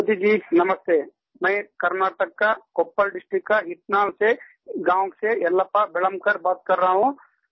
मोदी जी नमस्ते मैं कर्नाटक का कोप्पल डिस्ट्रिक्ट का इस गाँव से येलप्पा वेलान्कर बात कर रहा हूँ